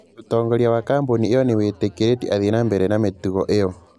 Ũtongoria wa kambuni ĩyo nĩ wĩtĩkĩrĩtie athiĩ na mbere na mĩtũgo ĩyo